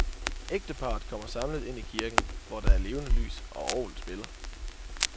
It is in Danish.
Ægteparret kommer samlet ind i kirken, hvor der er levende lys, og orglet spiller.